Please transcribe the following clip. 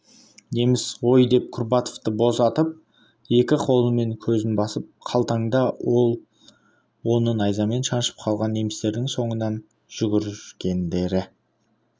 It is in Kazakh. неміс ой деп курбатовты босатып екі қолымен көзін басып қалтаңда ол оны найзамен шаншып қалған немістердің соңынан жүгіргендерді